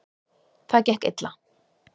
Það gekk illa.